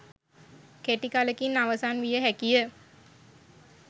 කෙටි කලකින් අවසන් විය හැකිය.